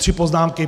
Tři poznámky.